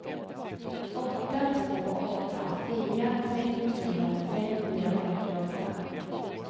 åtta två åtta fyra trettiotre femhundrafyrtioåtta